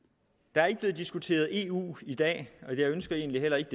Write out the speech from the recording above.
der er ikke blevet diskuteret i eu i dag og jeg ønsker egentlig heller ikke